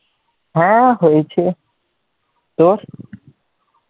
হ্যাঁ হয়েছে, তোর?